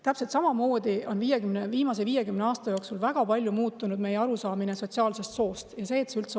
Täpselt samamoodi on viimase 50 aasta jooksul väga palju muutunud meie arusaamine sotsiaalsest soost ja sellest, et see üldse olemas on.